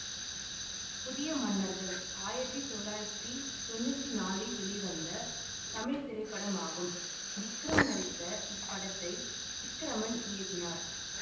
புதிய மன்னர்கள் ஆயிரத்தி தொள்ளாயிரத்தி தொன்னூற்தி நாளில் வெளிவந்த தமிழ் திரைப்படமாகும் விக்ரம் நடித்த இப்படத்தை விக்ரமன் இயக்கினார்